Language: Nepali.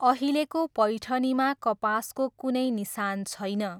अहिलेको पैठनीमा कपासको कुनै निसान छैन।